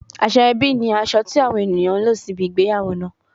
Asoebi ni aso ti awon eniyan n lo sibi igbeyawo naa